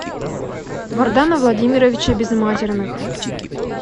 вардана владимировича безматерных